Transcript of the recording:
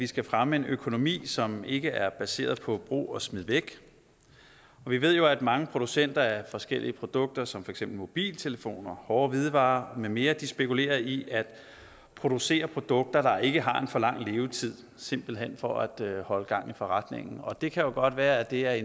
skal fremme en økonomi som ikke er baseret på brug og smid væk vi ved jo at mange producenter af forskellige produkter som for eksempel mobiltelefoner hårde hvidevarer med mere spekulerer i at producere produkter der ikke har en for lang levetid simpelt hen for at holde gang i forretningen og det kan godt være at det er i